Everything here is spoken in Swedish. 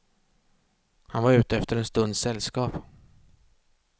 Han var ute efter en stunds sällskap.